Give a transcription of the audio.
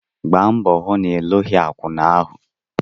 Gba mbọ hụ na ịlụghị akwụna ahụ!